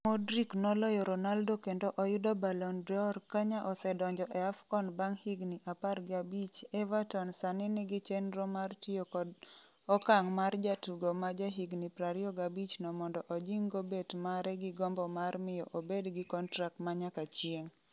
Modric noloyo Ronaldo kendo oyudo Ballon d'Or Kenya osedonjo e AFCON bang' higni 15 Everton sani nigi chenro mar tiyo kod okang' mar jatugo ma jahigni 25 no mondo ojing'o bet mare gi gombo mar miyo obed kontrak ma nyaka chieng’.